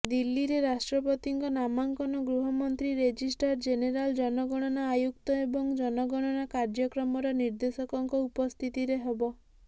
ଦିଲ୍ଲୀରେ ରାଷ୍ଟ୍ରପତିଙ୍କ ନାମାଙ୍କନ ଗୃହମନ୍ତ୍ରୀ ରେଜିଷ୍ଟ୍ରାର ଜେନେରାଲ ଜନଗଣନା ଆୟୁକ୍ତ ଏବଂ ଜନଗଣନା କାଯ୍ୟର୍କ୍ରମର ନିର୍ଦ୍ଦେଶକଙ୍କ ଉପସ୍ଥିତିରେ ହେବ